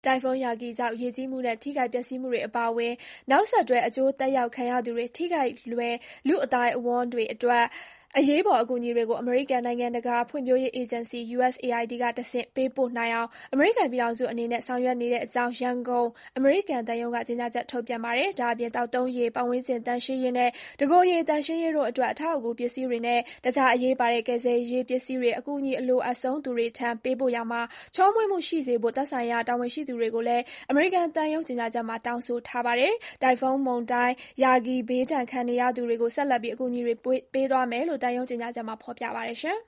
တိုင်ဖွန်း Yagi ကြောင့် ရေကြီးမှုနဲ့ ထိခိုက်ပျက်စီးမှုတွေ အပါအဝင် နောက်ဆက်တွဲ အကျိုးသက်ရောက်ခံရသူတွေ၊ ထိခိုက်လွယ် လူ့အသိုက်အဝန်းတွေအတွက် အရေးပေါ် အကူအညီတွေကို အမေရိကန်နိုင်ငံတကာ ဖွံ့ဖြိုးရေးအေဂျင်စီ (USAID) ကတဆင့် ပေးပို့နိုင်အောင် အမေရိကန်ပြည်ထောင်စုအနေနဲ့ ဆောင်ရွက်နေတဲ့အကြောင်း ရန်ကုန် အမေရိကန်သံရုံးက ကြေညာချက် ထုတ်ပြန်ပါတယ်။ ဒါ့အပြင် - သောက်သုံးရေ၊ ပတ်ဝန်းကျင်သန့်ရှင်းရေးနဲ့ တစ်ကိုယ်ရည်သန့်ရှင်းရေးတို့အတွက် အထောက်အကူပြု ပစ္စည်းတွေနဲ့ တခြား အရေးပါတဲ့ ကယ်ဆယ်ရေးပစ္စည်းတွေ အကူအညီအလိုအပ်ဆုံး သူတွေထံ ပေးပို့ရာမှာ ချောမွေ့မှုရှိစေဖို့ သက်ဆိုင်ရာတာဝန်ရှိသူတွေကိုလည်း အမေရိကန်သံရုံး ကြေညာချက်မှာ တောင်းဆိုထားပါတယ်။ တိုင်ဖုန်းမုန်တိုင်း Yagi ဘေးဒဏ်ခံနေရသူတွေကို ဆက်လက်ပြီး အကူအညီတွေ ပေးသွားမယ်လို့ သံရုံး ကြေညာချက်မှာ ဖော်ပြပါတယ်